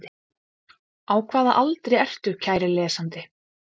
Á hvaða aldri ertu kæri lesandi?